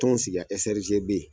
Tɔnw sigi i ya S R G B